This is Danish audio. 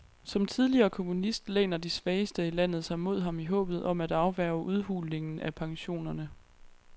Som tidligere kommunist læner de svageste i landet sig mod ham i håbet om at afværge udhulningen af pensionerne.